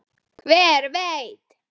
Hver veit